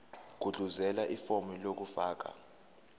gudluzela ifomu lokufaka